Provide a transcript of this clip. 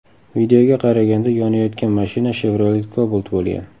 Videoga qaraganda, yonayotgan mashina Chevrolet Cobalt bo‘lgan.